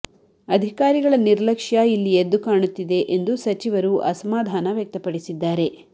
ಅಧಿಕಾರಿಗಳ ನಿರ್ಲಕ್ಷ್ಯ ಇಲ್ಲಿ ಎದ್ದು ಕಾಣುತ್ತಿದೆ ಎಂದು ಸಚಿವರು ಅಸಮಾಧಾನ ವ್ಯಕ್ತಪಡಿಸಿದ್ದಾರೆ